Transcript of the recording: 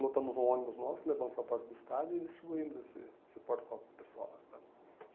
lotamos um ônibus nosso, levamos para a porta do estádio e distribuímos esse esse porta-copo pessoal lá, sabe.